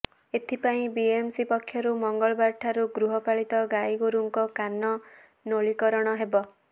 ଏଥିପାଇଁ ବିଏମସି ପକ୍ଷରୁ ମଙ୍ଗଳବାରଠାରୁ ଗୃହପାଳିତ ଗାଈଗୋରୁଙ୍କ କାନ ନୋଳିକରଣ ହେବ